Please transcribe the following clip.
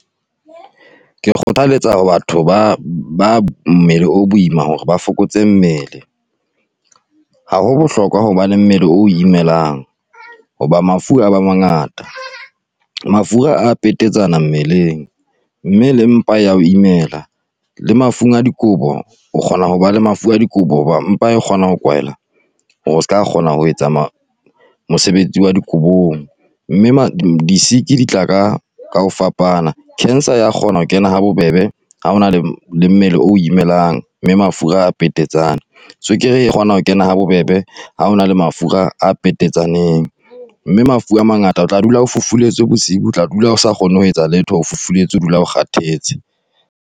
Ke kgothaletsa hore batho ba ba mmele o boima hore ba fokotse mmele. Ha ho bohlokwa hobane mmele o imelang ho ba mafu a ba mangata, mafura a petetsana mmeleng mme le mpa ya ho imela le mafung a dikobo o kgona ho ba le mafu a dikobo hobane mpa kgona ho kwala hore o seka kgona ho etsa mosebetsi wa dikobong, mme ma di-sick di tla ka kaho fapana, cancer ya kgona ho kena habobebe ha ona le mmele o o imelang, mme mafura a petetsane, tswekere e re kgona ho kena ha bobebe ha hona le mafura a petetsaneng, mme mafu a mangata o tla dula o fufuletswe bosiu, o tla dula o sa kgone ho etsa letho, o fufuletswe o dula o kgathetse.